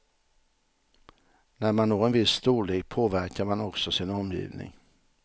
När man når en viss storlek påverkar man också sin omgivning.